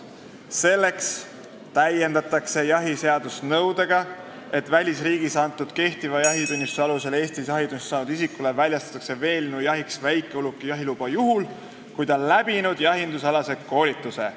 Selleks täiendatakse jahiseadust nõudega, et välisriigis antud kehtiva jahitunnistuse alusel Eestis jahitunnistuse saanud isikule väljastatakse veelinnujahiks väikeuluki jahiluba juhul, kui ta on läbinud jahindusalase koolituse.